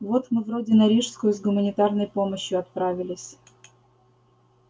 вот мы вроде на рижскую с гуманитарной помощью отправились